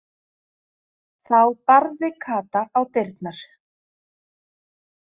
Þá barði Kata á dyrnar.